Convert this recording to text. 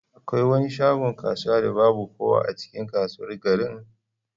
Akwai wani shagon kasuwa da babu kowa a cikin kasuwar garin?